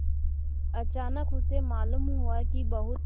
अचानक उसे मालूम हुआ कि बहुत